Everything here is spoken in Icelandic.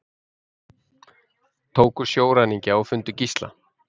Tóku sjóræningja og fundu gísla